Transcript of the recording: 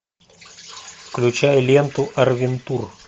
включай ленту арвентур